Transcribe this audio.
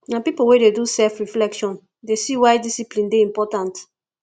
na pipo wey dey do selfreflection dey see why discipline dey important